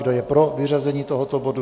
Kdo je pro vyřazení tohoto bodu?